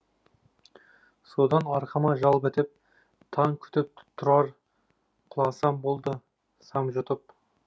содан арқама жал бітіп таң күтіп тұрар құласам болды сам жұтып